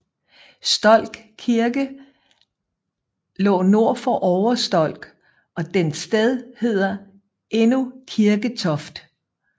Stolk Kirke lå nord for Ovre Stolk og dens sted hedder endnu Kirketoft